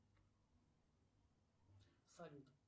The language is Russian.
салют